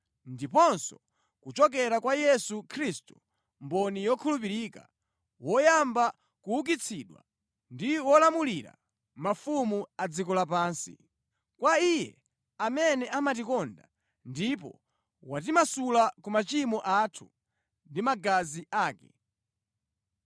ndiponso kuchokera kwa Yesu Khristu mboni yokhulupirika, woyamba kuukitsidwa, ndi wolamulira mafumu a dziko lapansi. Kwa Iye amene amatikonda ndipo watimasula ku machimo athu ndi magazi ake,